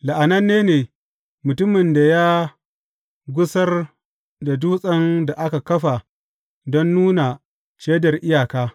La’ananne ne mutumin da ya gusar da dutsen da aka kafa don nuna shaidar iyaka.